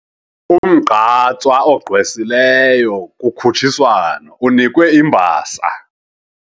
Umgqatswa ogqwesileyo kukhutshiswano unikwe imbasa.